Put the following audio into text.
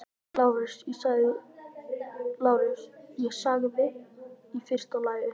LÁRUS: Ég sagði: í fyrsta lagi.